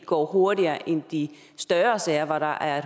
går hurtigere end de større sager hvor der er